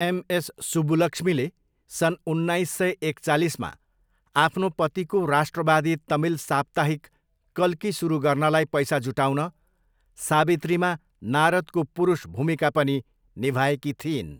MS सुब्बुलक्ष्मीले, सन् उन्नाइस सय एकचालिसमा आफ्नो पतिको राष्ट्रवादी तमिल साप्ताहिक कल्की सुरु गर्नलाई पैसा जुटाउन, सावित्रीमा नारदको पुरुष भूमिका पनि निभाएकी थिइन्।